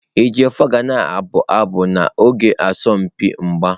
Ejiofor ga na-abụ abụ n'oge asọmpi mgba.